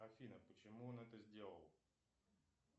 афина почему он это сделал